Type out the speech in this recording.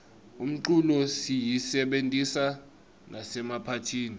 umculo siyisebentisa nasemaphatihni